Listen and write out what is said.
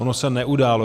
Ono se neudálo.